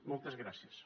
moltes gràcies